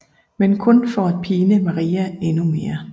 Men kun for at pine Maria endnu mere